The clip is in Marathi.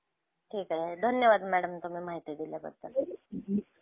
ठीक आहे. धन्यवाद मॅडम तुम्ही माहिती दिल्याबद्दल.